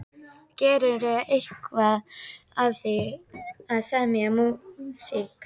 Gerirðu eitthvað af því að semja músík?